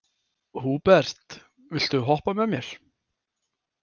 Húbert, viltu hoppa með mér?